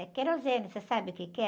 É querosene, você sabe o que é?